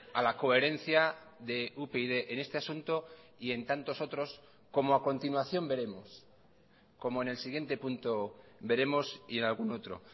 a la coherencia de upyd en este asunto y en tantos otros como a continuación veremos como en el siguiente punto veremos y en algún otro